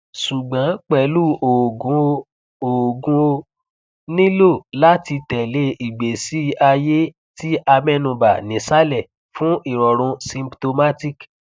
sugbon pelu oogun o oogun o nilo lati tele igbesi aye ti amenuba nisale fun irorun symtomatic